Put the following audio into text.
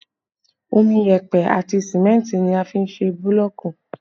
Omi, yẹpẹ àti símẹ́ntì ni a fi n se búlọ̀ọ̀kù